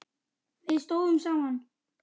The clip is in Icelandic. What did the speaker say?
Við stóðum saman.